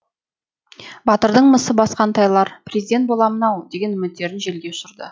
батырдың мысы басқан талайлар президент боламын ау деген үміттерін желге ұшырды